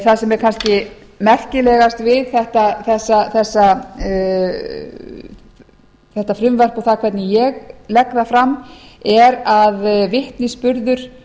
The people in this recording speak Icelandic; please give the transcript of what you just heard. það sem er kannski merkilegast við þetta frumvarp og það hvernig ég legg það fram er að vitnisburður